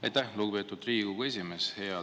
Aitäh, lugupeetud Riigikogu esimees!